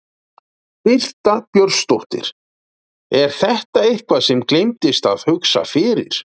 Birta Björnsdóttir: Er þetta eitthvað sem að gleymdist að hugsa fyrir?